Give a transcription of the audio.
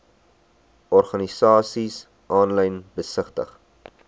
organisasies aanlyn besigtig